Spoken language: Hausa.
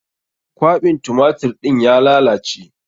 Kwaɓin tumatir ɗin ya lalace.